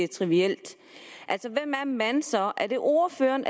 trivielt altså hvem er man så er det ordføreren